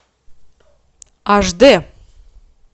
аш дэ